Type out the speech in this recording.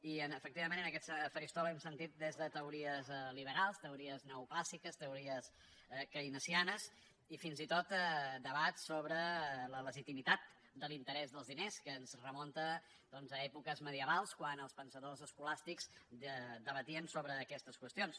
i efectivament en aquest faristol hem sentit des de teories liberals teori·es neoclàssiques teories keynesianes i fins i tot debats sobre la legitimitat de l’interès dels diners que ens re·munta a èpoques medievals quan els pensadors esco·làstics debatien sobre aquestes qüestions